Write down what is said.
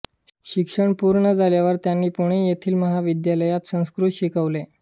शिक्षण पूर्ण झाल्यावर त्यांनी पुणे येथील महाविद्यालयात संस्कृत शिकवले